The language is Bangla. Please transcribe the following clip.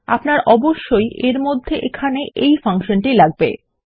আপনার অবশ্যই এর মধ্যে এখানে এই ফাংশন টি লাগবে